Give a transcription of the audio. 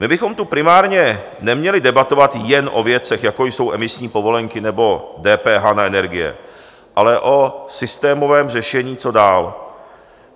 My bychom tu primárně neměli debatovat jen o věcech, jako jsou emisní povolenky nebo DPH na energie, ale o systémovém řešení, co dál.